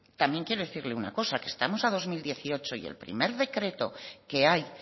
también quiero decirle una cosa que estamos a dos mil dieciocho y el primer decreto que hay